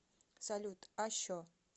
салют а що